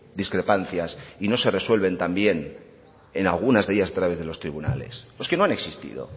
discrepancias y no se resuelven también en algunas de ellas a través de los tribunales o es que no ha existido